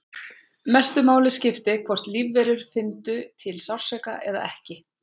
Mestu máli skipti hvort lífverur fyndu til sársauka eða ekki.